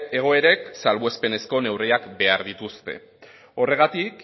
egoerek salbuespenezko neurriak behar dituzte horregatik